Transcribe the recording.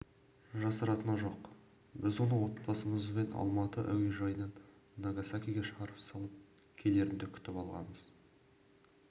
жасыратыны жоқ біз оны отбасымызбен алматы әуежайынан нагасакиге шығарып салып келерінде күтіп алғамыз